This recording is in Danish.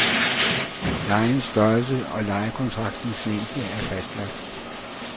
Lejens størrelse og lejekontraktens længde er fastlagt.